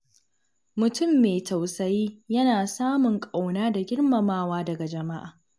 Mutum mai tausayi yana samun ƙauna da girmamawa daga jama’a.